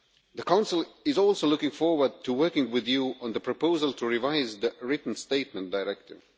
The Council is also looking forward to working with you on the proposal to revise the Written Statement Directive.